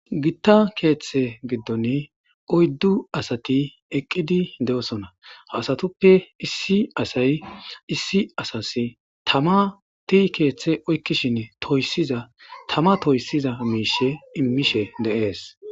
Gita keethe giddon oyddu asati eqidi dosona, ha asatuppe issi asayi issi asasi tamati keethe oykishn toysiza Tama toysiza mishe imishe de'esi.